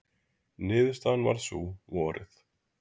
Niðurstaðan varð sú, vorið